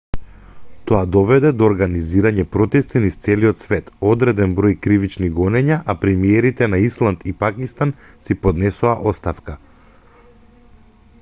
тоа доведе до организирање протести низ целиот свет одреден број кривични гонења а премиерите на исланд и пакистан си поднесоа оставка